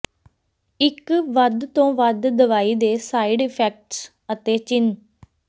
ਇੱਕ ਵੱਧ ਤੋਂ ਵੱਧ ਦਵਾਈ ਦੇ ਸਾਈਡ ਇਫੈਕਟਸ ਅਤੇ ਚਿੰਨ੍ਹ